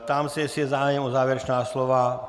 Ptám se, jestli je zájem o závěrečná slova.